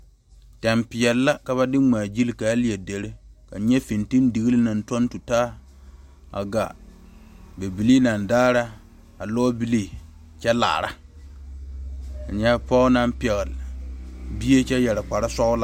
Tene peɛle la ka ba de ŋma gyile kaa leɛ dire kaŋ nyɛ fintelideli naŋ tɔŋ tutaa a gaa bibile naŋ daare a lɔ bile kyɛ laare a nyɛ pɔge naŋ pegle bie kyɛ yeere kpare sɔglɔ.